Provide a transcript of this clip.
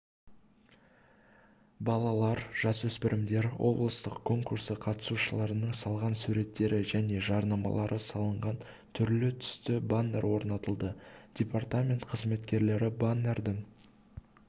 балалалар жасөспірімдер облыстық конкурсы қатысушыларының салған суреттері және жарнамалар салынған түрлі-түсті баннер орнатылды департамент қызметкерлері баннердің